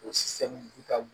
O